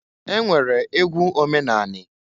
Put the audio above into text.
E nwere egwu omenani.